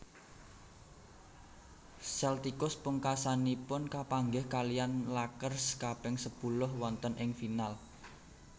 Celtics pungkasanipun kapanggih kaliyan Lakers kaping sepuluh wonten ing final